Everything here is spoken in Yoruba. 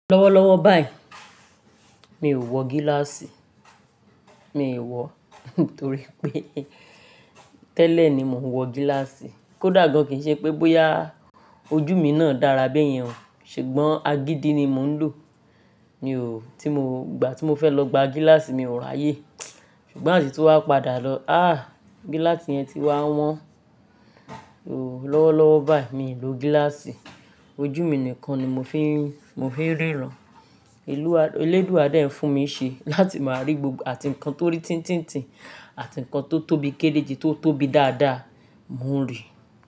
Lọ́wọ́lọ́wọ́ báyìí mi ò wọ gíláàsì, mi ò wọ nítorí pé tẹ́lẹ̀ ni mò ń wọ gíláàsì. Kódà gan kí ṣe pé bóyá ojú mi náà dára be yen, ṣùgbọ́n agídí ni mò ń lò. Mi ò-- tí mò gba, tí mo fẹ́ lọ gba gíláàsì mi ò ra ayé. Ṣùgbọ́n ati tuwa padà lọ. Ààh! Gíláàsì yẹn ti wá wọ́n. Oh, lọ́wọ́lọ́wọ́ báyì mi ò lo gíláàsì, ojú mi nìkan ni mo fi ń, mo fi ń ríran. Ìlú, elédúa de fún mi ṣe láti máa rí gbogbo àti ǹkan tó rí tintintin àti ǹkan tó tóbi kéleje tóbi dádá, mò ń ri.